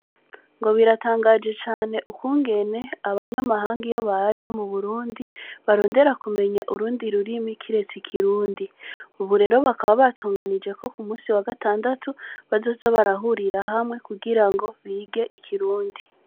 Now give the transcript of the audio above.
Ngo biratangaje cane ukungene abanyamahanga iyo baje mu Burundi, ndarondera kumenya urundi rurimi kiretse ikirundi. Ubu rero bakaba batunganije ko Ku munsi wa gatandatu bazoza barahurira hamwe ngo bige ikirundi.